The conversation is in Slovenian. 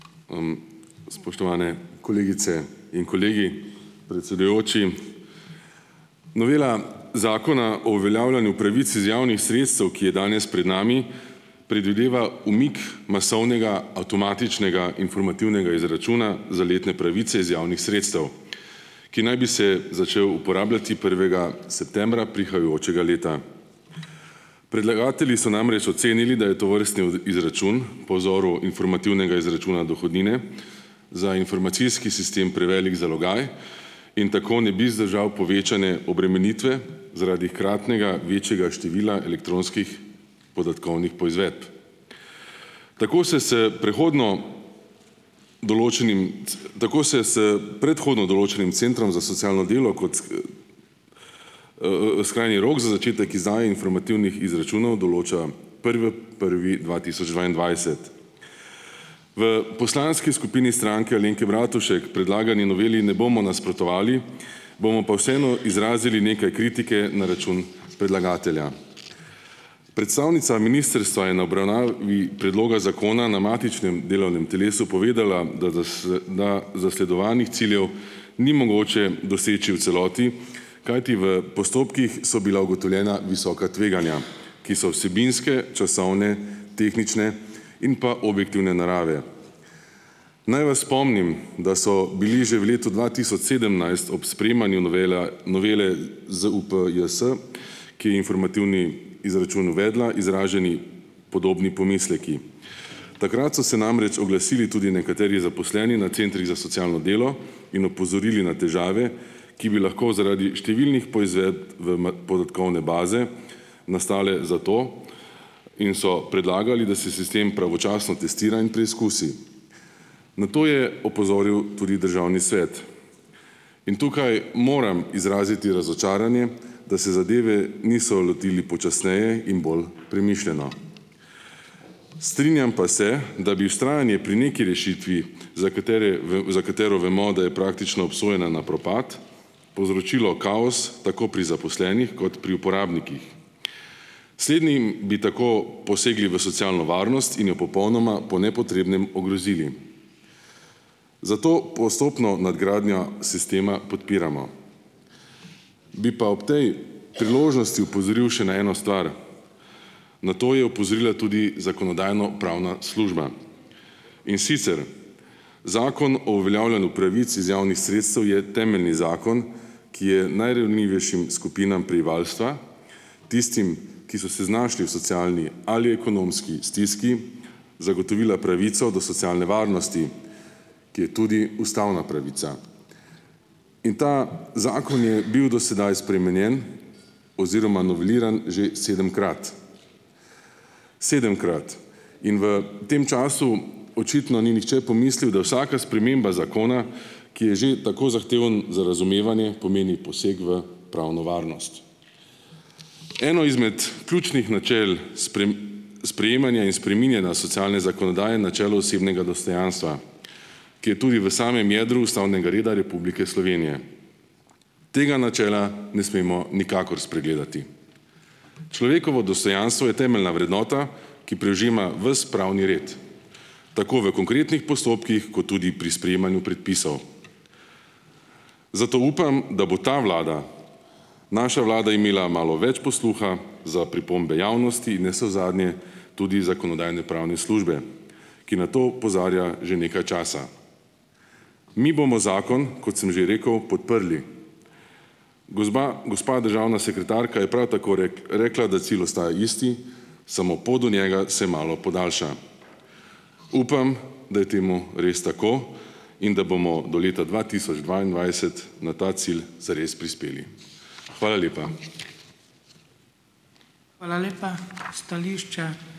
Spoštovane kolegice in kolegi! Predsedujoči! Novela Zakona o uveljavljanju pravic iz javnih sredstev, ki je danes pred nami, predvideva umik masovnega avtomatičnega informativnega izračuna za letne pravice iz javnih sretstev, ki naj bi se začel uporabljati prvega septembra prihajajočega leta. Predlagatelji so namreč ocenili, da je tovrstni od izračun po vzoru informativnega izračuna dohodnine za informacijski sistem prevelik zalogaj in tako ne bi zdržal povečane obremenitve, zaradi hkratnega večjega števila elektronskih podatkovnih poizvedb. Tako se s prehodno določenim tako se s predhodno določenim centrom za socialno delo kot... skrajni rok za začetek izdaje informativnih izračunov določa prve prvi dva tisoč dvaindvajset. V poslanski skupini Stranke Alenke Bratušek predlagani noveli ne bomo nasprotovali, bomo pa vseeno izrazili nekaj kritike na račun predlagatelja. Predstavnica ministrstva je na obravnavi predloga zakona na matičnem delovnem telesu povedala, da da s da zasledovanih ciljev ni mogoče doseči v celoti, kajti v postopkih so bila ugotovljena visoka tveganja, ki so vsebinske, časovne, tehnične in pa objektivne narave. Naj vas spomnim, da so bili že v letu dva tisoč sedemnajst ob sprejemanju novela novele ZUPJS, ki je informativni izračun uvedla, izraženi podobni pomisleki. Takrat so se namreč oglasili tudi nekateri zaposleni na centrih za socialno delo in opozorili na težave, ki bi lahko zaradi številnih poizvedb v ma podatkovne baze nastale, zato in so predlagali, da se sistem pravočasno testira in preizkusi. Na to je opozoril tudi Državni svet. In tukaj moram izraziti razočaranje, da se zadeve niso lotili počasneje in bolj premišljeno. Strinjam pa se, da bi vztrajanje pri neki rešitvi, za katere za katero vemo, da je praktično obsojena na propad, povzročilo kaos tako pri zaposlenih kot pri uporabnikih. Slednjim bi tako posegli v socialno varnost in jo popolnoma po nepotrebnem ogrozili, zato postopno nadgradnjo sistema podpiramo. Bi pa ob tej priložnosti opozoril še na eno stvar. Na to je opozorila tudi Zakonodajno-pravna služba. In sicer, Zakon o uveljavljanju pravic iz javnih sredstev je temeljni zakon, ki je najranljivejšim skupinam prebivalstva, tistim, ki so se znašli v socialni ali ekonomski stiski, zagotovila pravico do socialne varnosti, ki je tudi ustavna pravica. In ta zakon je bil do sedaj spremenjen oziroma noveliran že sedemkrat. Sedemkrat - in v tem času očitno ni nihče pomislil, da vsaka sprememba zakona, ki je že tako zahteven za razumevanje, pomeni poseg v pravno varnost. Eno izmed ključnih načel sprejemanja in spreminjanja socialne zakonodaje je načelo osebnega dostojanstva, ki je tudi v samem jedru ustavnega reda Republike Slovenije. Tega načela ne smemo nikakor spregledati. Človekovo dostojanstvo je temeljna vrednota, ki prežema ves pravni red, tako v konkretnih postopkih kot tudi pri sprejemanju predpisov. Zato upam, da bo ta Vlada, naša Vlada, imela malo več posluha za pripombe javnosti navsezadnje, tudi Zakonodajno-pravne službe, ki na to opozarja že nekaj časa. Mi bomo zakon, kot sem že rekel, podprli. Gozba gospa državna sekretarka je prav tako rekla, da cilj ostaja isti, samo pot do njega se malo podaljša. Upam, da je temu res tako in da bomo do leta dva tisoč dvaindvajset na ta cilj zares prispeli. Hvala lepa.